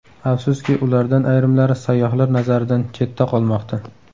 Afsuski, ulardan ayrimlari sayyohlar nazaridan chetda qolmoqda.